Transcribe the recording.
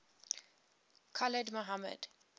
khalid sheikh mohammed